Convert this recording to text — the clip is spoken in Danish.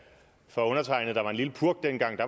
for undertegnede der var en lille purk dengang